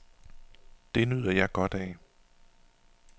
Det nyder jeg godt af.